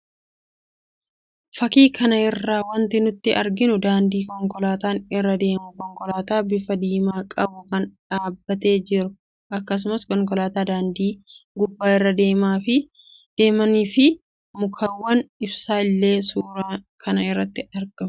Fakkii kana irraa wanti nuti arginu daandii konkolaataan irra deemu, konkolaataa bifa diimaa qabu kan dhaabbattee jirtu akkasumas konkolaattota daandii gubbaa irra deeman fi mukkeewwan ibsaa illee suura kana irratti ni argamu.